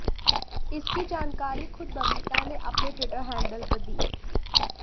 इसकी जानकारी खुद बबीता ने अपने ट्विटर हैंडल पर दी